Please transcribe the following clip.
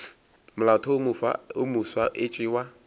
molaotheo wo mofsa e tšewa